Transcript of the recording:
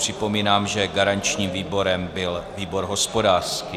Připomínám, že garančním výborem byl výbor hospodářský.